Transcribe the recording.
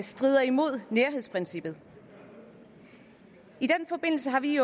strider imod nærhedsprincippet i den forbindelse har vi